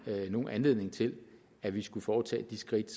nogen anledning til at vi skulle foretage de skridt